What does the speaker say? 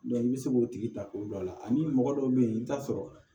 i bɛ se k'o tigi ta k'o don a la ani mɔgɔ dɔw bɛ yen i bɛ t'a sɔrɔ